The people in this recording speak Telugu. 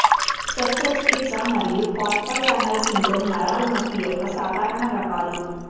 శస్త్రచికిత్స మరియు కార్పల్ టన్నెల్ సిండ్రోమ్ నరాల నొప్పి యొక్క సాధారణ రకాలు